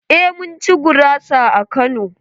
Eh mun ci gurasa a Kano.